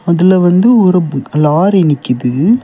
இதுல வந்து ஒரு ப்பு லாரி நிக்குது.